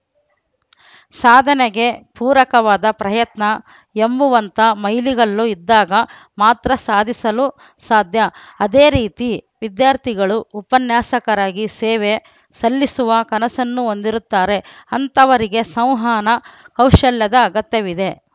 ಸಾಧನೆಗೆ ಪೂರಕವಾದ ಪ್ರಯತ್ನ ಎಂಬುವಂತ ಮೈಲಿಗಲ್ಲು ಇದ್ದಾಗ ಮಾತ್ರ ಸಾಧಿಸಲು ಸಾಧ್ಯ ಅದೇ ರೀತಿ ವಿದ್ಯಾರ್ಥಿಗಳು ಉಪನ್ಯಾಸಕರಾಗಿ ಸೇವೆ ಸಲ್ಲಿಸುವ ಕನಸನ್ನು ಹೊಂದಿರುತ್ತಾರೆ ಅಂತವರಿಗೆ ಸೌಹನ ಕೌಶಲ್ಯದ ಅಗತ್ಯವಿದೆ